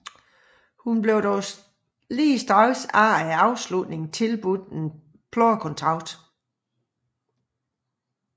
Hun blev dog straks efter afslutningen tilbudt en pladekontrakt